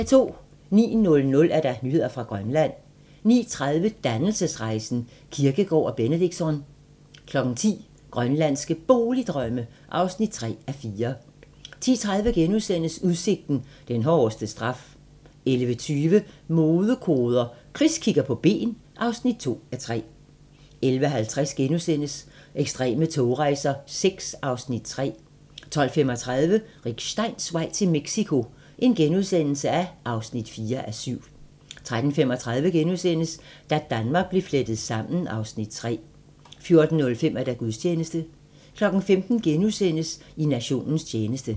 09:00: Nyheder fra Grønland 09:30: Dannelsesrejsen - Kierkegaard og Benedictsson 10:00: Grønlandske Boligdrømme (3:4) 10:30: Udsigten - den hårdeste straf * 11:20: Modekoder - Chris kigger på ben (2:3) 11:50: Ekstreme togrejser VI (Afs. 3)* 12:35: Rick Steins vej til Mexico (4:7)* 13:35: Da Danmark blev flettet sammen (Afs. 3)* 14:05: Gudstjeneste 15:00: I nationens tjeneste *